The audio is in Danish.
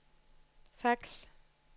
fax